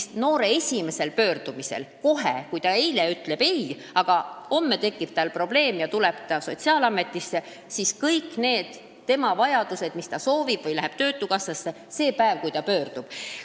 Ja kui noor on eelmisel päeval abist keeldunud, aga tal tekib järgmisel päeval probleem ja ta läheb töötukassasse või sotsiaalametisse, siis kaetakse kõik tema vajadused, täidetakse tema soovid – sel päeval, kui noor pöördub.